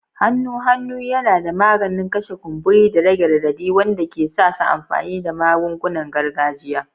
Hannun hannu yana da maganin kashe kumburi da rage radadi wanda ke sa su amfani da magungunan gargajiya.